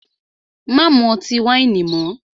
Má mú ọtí wáìnì mọ́!